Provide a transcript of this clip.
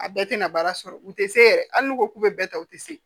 A bɛɛ tɛna baara sɔrɔ u tɛ se yɛrɛ hali n'u ko k'u bɛ bɛɛ ta u tɛ se